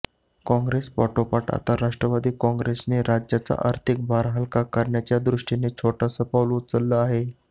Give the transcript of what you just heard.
काँग्रेस पाठोपाठ आता राष्ट्रवादी काँग्रेसनं राज्याचा आर्थिक भार हलका करण्याच्या दृष्टीनं छोटंसं पाऊल उचललं आहे